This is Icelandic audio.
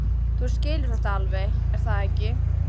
Þú skilur þetta alveg, er það ekki?